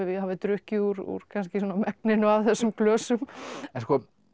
hafi drukkið úr kannski svona megninu af þessum glösum en sko